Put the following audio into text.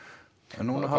en núna hafa